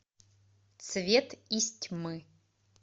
цвет из тьмы